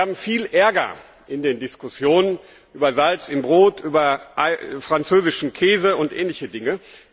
Wir haben viel Ärger in den Diskussionen über Salz im Brot, über französischen Käse und ähnliche Dinge.